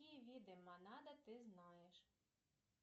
какие виды монада ты знаешь